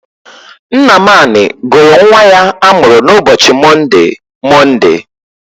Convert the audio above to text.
Nnamani gụrụ nnwa ya a mụrụ n'ụbochi Monde, Monde.